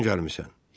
Hardan gəlmisən?